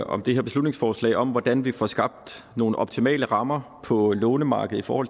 om det her beslutningsforslag om hvordan vi får skabt nogle optimale rammer på lånemarkedet for